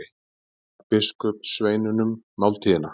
Hann gaf biskupssveinunum máltíðina.